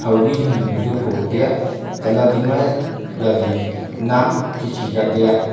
obi hing hing ka duh ophoh ophoh tiya chatley hading ma jali naam khikhi ka tiya.